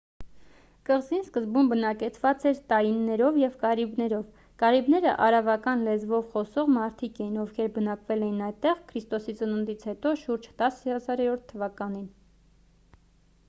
կղզին սկզբում բնակեցված էր տայիններով և կարիբներով: կարիբները արավական լեզվով խոսող մարդիկ էին ովքեր բնակվել էին այդտեղ ք.ծ.հ. շուրջ 10 000 թ.-ին: